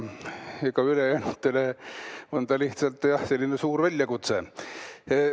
Ülejäänutele on ta lihtsalt, jah, selline suur väljakutse.